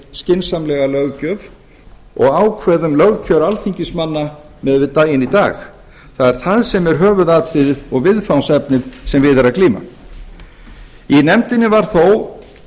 skynsamlega löggjöf og ákveðum lögkjör alþingismanna miðað við daginn í dag það er það sem er höfuðatriðið og viðfangsefnið sem við er að glíma í nefndinni var þó